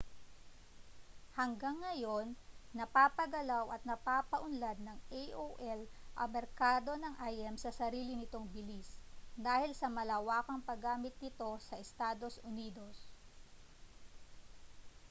hanggang ngayon napapagalaw at napapaunlad ng aol ang merkado ng im sa sarili nitong bilis dahil sa malawakang paggamit nito sa estados unidos